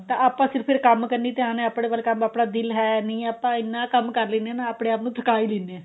ਤਾਂ ਆਪਾ ਸਿਰਫ ਕੰਮ ਕਨੀ ਧਿਆਨ ਏ ਆਪਣੇ ਵੱਲ ਕੰਮ ਆਪਣਾ ਦਿਲ ਹੈ ਨਹੀਂ ਹੈ ਆਪਾਂ ਇੰਨਾ ਕੰਮ ਕਰ ਲਿੰਨੇ ਆ ਆਪਣੇ ਆਪ ਨੂੰ ਥਕਾ ਈ ਲੈਨੇ ਆ